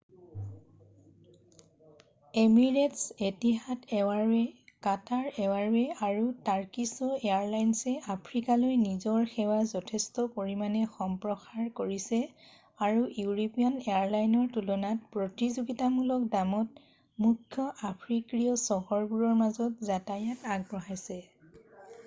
emirates Etihad Airways' Qatar Airways' আৰু Turkish এয়াৰলাইনছে আফ্ৰিকালৈ নিজৰ সেৱা যথেষ্ট পৰিমাণে সম্প্ৰসাৰ কৰিছে আৰু ইউৰোপীয়ান এয়াৰলাইনৰ তুলনাত প্ৰতিযোগিতামূলক দামত মুখ্য আফ্ৰিকীয় চহৰবোৰৰ মাজত যাতায়ত আগবঢ়াইছে